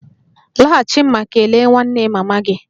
Laghachi ma kelee nwanne mama gị!